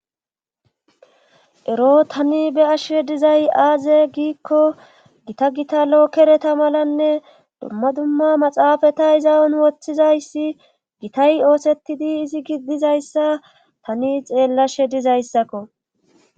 Ero tani be ashe dizay aaze giikko gita gita lookereta malanne dumma dumma maxaafata izawon woththizayssi gitay oosettidi izi giddizayssa tani xeellashe dizayssakko